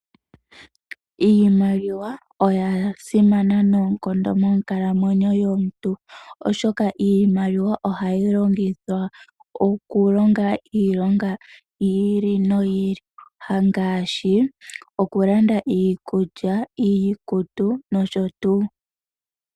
Iimaliwa oya simana noonkondo monkalamwenyo yomuntu, oshoka iimaliwa ohayi longithwa okulonga iilonga yi ili noyi ili ngaashi okulanda iikulya, iikutu nosho tuu.